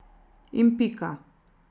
In pika.